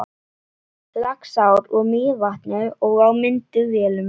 Laxár úr Mývatni og á vinnuvélum.